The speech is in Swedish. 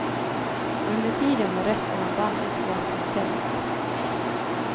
Under tiden var resten av bandet kvar på hotellet.